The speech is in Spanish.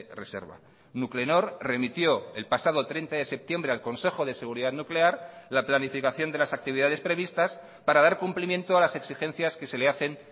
reserva nuclenor remitió el pasado treinta de septiembre al consejo de seguridad nuclear la planificación de las actividades previstas para dar cumplimiento a las exigencias que se le hacen